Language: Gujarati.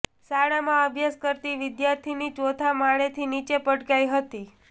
શાળામાં અભ્યાસ કરતી વિદ્યાર્થીની ચોથા માળેથી નીચે પટકાઈ હતી